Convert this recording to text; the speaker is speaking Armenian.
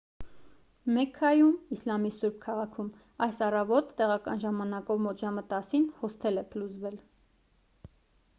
մեքքայում իսլամի սուրբ քաղաքում այս առավոտ տեղական ժամանակով մոտ ժամը 10-ին հոսթել է փլուզվել